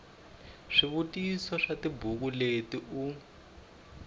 swivutiso swa tibuku leti u